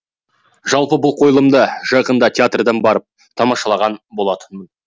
жалпы бұл қойылымды жақында театрдан барып тамашалаған болатынмын